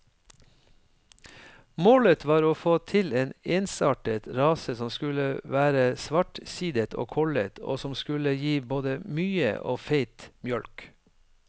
Målet var å få til en ensartet rase som skulle være svartsidet og kollet, og som skulle gi både mye og feit mjølk.